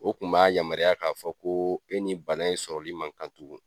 O kun b'a yamaruya k'a fɔ ko, e ni bana in sɔrɔli man kan tugu.